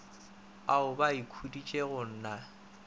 ao ba ikhuditšego go na